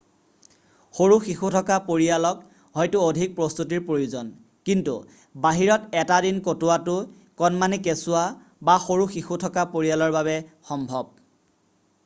সৰু শিশু থকা পৰিয়ালক হয়তো অধিক প্ৰস্তুতিৰ প্ৰয়োজন কিন্তু বাহিৰত এটা দিন কটোৱাটো কণমানি কেচুৱা বা সৰু শিশু থকা পৰিয়ালৰ বাবে সম্ভৱ